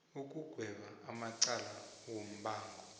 ukugweba amacala wombango